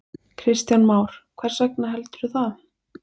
Kristján Már: Hvers vegna, heldurðu?